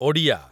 Odia